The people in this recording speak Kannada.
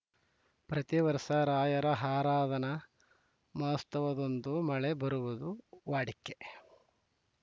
ಪ್ರತಿ ವರ್ಷ ರಾಯರ ಹರಾಧನಾ ಮಹೋತ್ಸವದಂದು ಮಳೆ ಬರುವುದು ವಾಡಿಕೆ